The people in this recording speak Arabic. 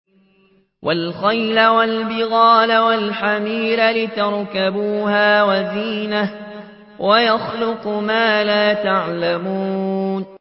وَالْخَيْلَ وَالْبِغَالَ وَالْحَمِيرَ لِتَرْكَبُوهَا وَزِينَةً ۚ وَيَخْلُقُ مَا لَا تَعْلَمُونَ